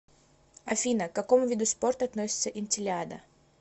афина к какому виду спорта относится интеллиада